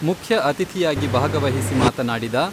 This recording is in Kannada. ಮುಖ್ಯ ಅತಿಥಿಯಾಗಿ ಭಾಗವಹಿಸಿ ಮಾತನಾಡಿದ